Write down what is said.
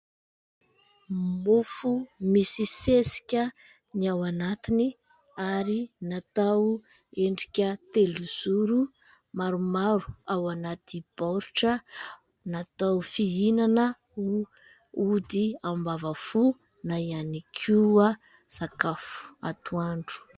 Mofo misy sesika ny ao anatiny, ary natao endrika telozoro maromaro ao anaty baoritra. Natao fihinana ho ody ambavafò; na ihany koa sakafo atoandro.